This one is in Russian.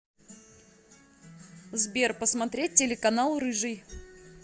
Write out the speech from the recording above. сбер посмотреть телеканал рыжий